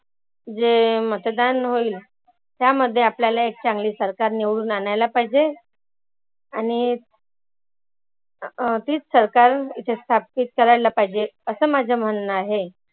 जे मतदान होईल त्यामध्ये आपल्याला एक चांगली सरकार निवडून आनायला पाहिजे. आणि तीच सरकार इथे स्थापीत करायला पाहीजे. असं माझं म्हणनं आहे.